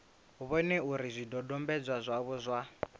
vhone uri zwidodombedzwa zwavho zwa